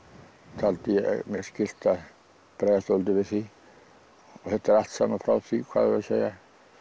taldi ég mér skylt að bregðast svolítið við því og þetta er allt saman frá því hvað eigum við að segja